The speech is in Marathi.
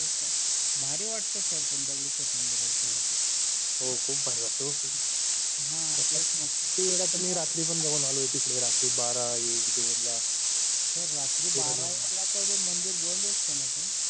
भारी वाटतं sir पण दगडूशेठ मंदिरात गेल्यावर हो खूप भारी वाटतं हो sir हा तेच ना रात्री पण बघून आलो होतो रात्री बारा एक दोन ला sir रात्री बारा एकला सगळे मंदिर बंद असतो ना sir